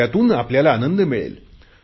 त्यातून आपल्याला आनंद मिळेल